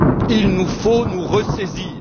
Il nous faut nous ressaisir